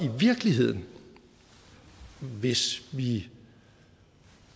i virkeligheden hvis vi